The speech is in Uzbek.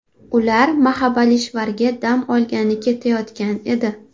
Ular Mahabalishvarga dam olgani ketayotgan edi.